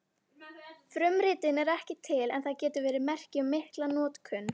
Frumritin eru ekki til en það getur verið merki um mikla notkun.